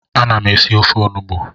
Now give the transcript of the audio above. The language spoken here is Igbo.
Ana m esi ofe onugbu